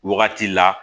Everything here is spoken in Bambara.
Wagati la